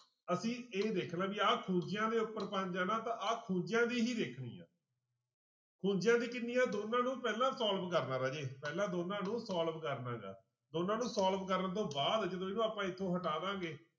ਅਸੀਂ ਇਹ ਦੇਖਣਾ ਵੀ ਆਹ ਖੂੰਜਿਆਂ ਦੇ ਉੱਪਰ ਪੰਜ ਹੈ ਨਾ ਤਾਂ ਆਹ ਖੂੰਜਿਆਂ ਦੀ ਹੀ ਦੇਖਣੀ ਹੈ ਖੂੰਜਿਆਂ ਦੀ ਕਿੰਨੀ ਆ ਦੋਨਾਂ ਨੂੰ ਪਹਿਲਾਂ solve ਕਰਨਾ ਰਾਜੇ ਪਹਿਲਾਂ ਦੋਨਾਂ ਨੂੰ solve ਕਰਨਾ ਗਾ ਦੋਨਾਂ ਨੂੰ solve ਕਰਨ ਤੋਂ ਬਾਅਦ ਜਦੋਂ ਇਹਨੂੰ ਆਪਾਂ ਇੱਥੋਂ ਹਟਾਵਾਂਗੇ।